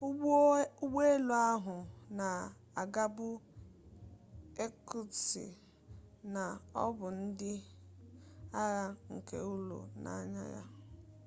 ụgbọelu ahụ na-agabu irkutsk na ọ bụ ndị agha nke ụlọ na-anya ya